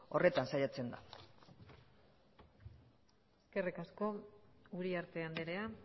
horretan saiatzen da eskerrik asko uriarte andrea